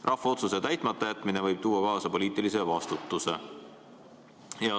Rahva otsuse täitmata jätmine võib tuua kaasa poliitilise vastutuse.